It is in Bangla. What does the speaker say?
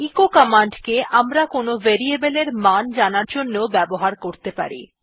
এচো কমান্ড কে আমরা কোনো ভেরিয়েবল এর মান জানার জন্য ব্যবহার করতে পারি